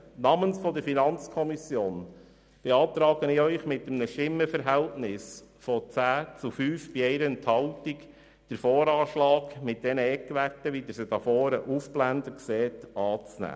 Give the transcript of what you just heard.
Namens der FiKo beantragen wir Ihnen mit einem Stimmenverhältnis von 10 zu 5 Stimmen bei 1 Enthaltung, den VA mit den Eckwerten, so wie Sie sie hier auf der Präsentation sehen, anzunehmen.